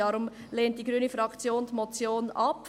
Deshalb lehnt die grüne Fraktion diese Motion ab.